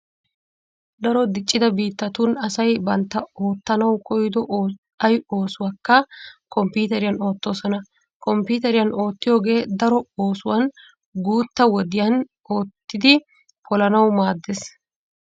Daro diccida biittatun asay bantta oottanawu koyido ay oosuwakka komppuuteriyan oottoosona. Komppuuteriyan oottiyogee daro oosuwan guutta wodiyan oottidi polanawu maaddees.